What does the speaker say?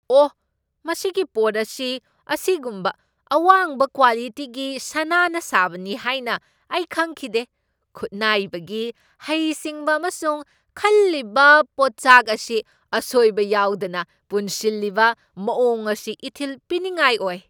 ꯑꯣꯍ, ꯃꯁꯤꯒꯤ ꯄꯣꯠ ꯑꯁꯤ ꯑꯁꯤꯒꯨꯝꯕ ꯑꯋꯥꯡꯕ ꯀ꯭ꯋꯥꯂꯤꯇꯤꯒꯤ ꯁꯅꯥꯅ ꯁꯥꯕꯅꯤ ꯍꯥꯏꯅ ꯑꯩ ꯈꯪꯈꯤꯗꯦ꯫ ꯈꯨꯠꯅꯥꯏꯕꯒꯤ ꯍꯩꯁꯤꯡꯕ ꯑꯃꯁꯨꯡ ꯈꯜꯂꯤꯕ ꯄꯣꯠꯆꯥꯛ ꯑꯁꯤ ꯑꯁꯣꯏꯕ ꯌꯥꯎꯗꯅ ꯄꯨꯟꯁꯤꯜꯂꯤꯕ ꯃꯑꯣꯡ ꯑꯁꯤ ꯏꯊꯤꯜ ꯄꯤꯅꯤꯡꯉꯥꯏ ꯑꯣꯏ꯫